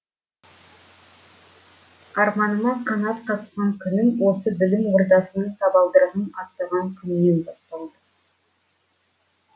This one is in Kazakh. арманыма қанат қаққан күнім осы білім ордасының табалдырығын аттаған күннен басталды